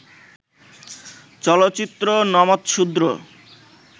চলচ্চিত্র ‘নমঃশূদ্র’